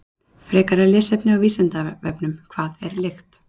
Frekara lesefni á Vísindavefnum: Hvað er lykt?